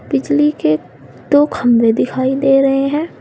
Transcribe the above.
बिजली के दो खंबे दिखाई दे रहे हैं।